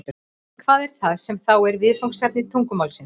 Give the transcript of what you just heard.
Hvað er það sem þá er viðfangsefni tungumálsins?